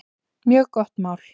Mjög gott mál.